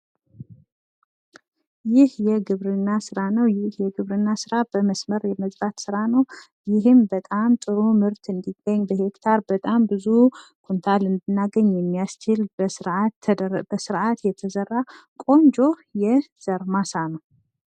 ይህ የግብርና ስራ ነው። ይህ የግብርና ስራ በመስመር የመዝራት ስራ ነው። ይሄም በጣም ጥሩ ምርት እንዲገኝ ፣ በሄክታር በጣም ብዙ ኩንታል እንድናገኝ የሚያስችል በስርአት የተዘራ ቆንጆ የዘር ማሳ ነው።